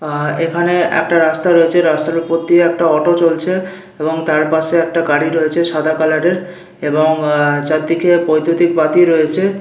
আহ এখানে একটা রাস্তা রয়েছে রাস্তার ওপর দিয়ে একটা অটো চলছে এবং তার পাশে একটা গাড়ি রয়েছে সাদা কালারের এবং চারদিকে বৈদ্যুতিক বাতি রয়েছে।